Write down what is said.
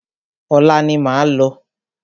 Ọ̀la ni máa lọ.